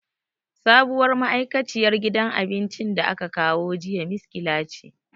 Sabuwar ma'aikaciyar gidan abincin da aka kawo jiya miskila ce.